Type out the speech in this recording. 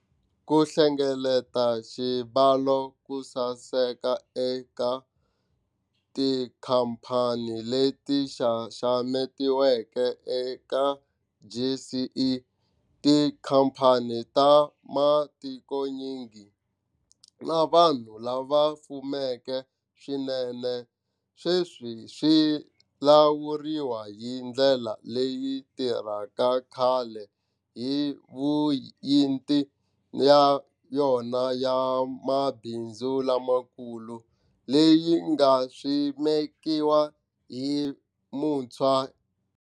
Ku hlengeleta xibalo kusaseka eka tikhamphani leti xaxametiweke eka JSE, tikhamphani ta matikonyingi, na vanhu lava fumeke swinene sweswi swi lawuriwa hi ndlela leyi tirhaka kahle hi Yuniti ya yona ya Mabindzu Lamakulu, leyi nga simekiwa hi vuntshwa.